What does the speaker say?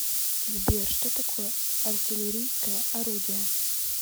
сбер что такое артиллерийское орудие